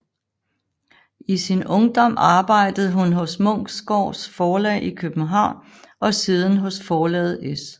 I sin ungdom arbejdede hun hos Munksgaards Forlag i København og siden hos forlaget S